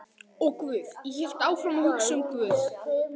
Og guð, ég hélt áfram að hugsa um guð.